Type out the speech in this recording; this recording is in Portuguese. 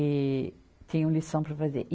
E tinham lição para fazer. e